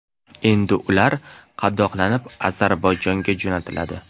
Endi ular qadoqlanib Ozarbayjonga jo‘natiladi.